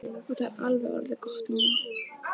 Og það er alveg orðið gott núna.